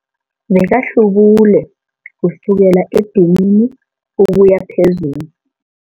Bekahlubule kusukela edinini ukuya phezulu.